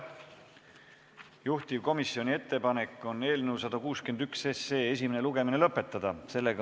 Juhtivkomisjoni ettepanek on eelnõu 161 esimene lugemine lõpetada.